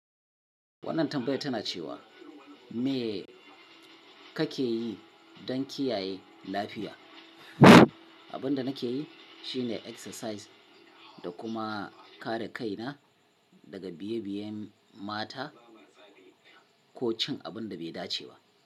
Wannan tambayar tana cewa me kake yi dan kiyaye lafiya? Abin da nake yi shine exercise da kuma kare kaina daga biye-biyen mata ko cin abin da bai dace ba.